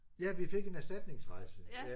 Ja vi fik en erstatningsrejse ja